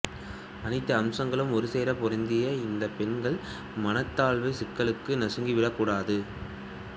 அனைத்து அம்சங்களும் ஒருசேர பொருந்திய இந்தப் பெண்கள் மனம் தாழ்வுச் சிக்கலுக்குள் நசுங்கி விடக் கூடாது